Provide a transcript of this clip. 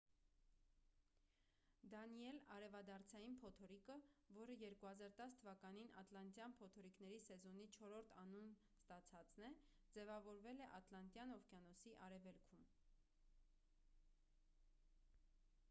դանիել արևադարձային փոթորիկը որը 2010 թ ատլանտյան փոթորիկների սեզոնի չորրորդ անուն ստացածն է ձևավորվել է ատլանտյան օվկիանոսի արևելքում